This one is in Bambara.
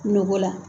Nogo la